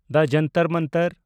ᱫᱟ ᱡᱚᱱᱛᱚᱨ ᱢᱚᱱᱛᱚᱨ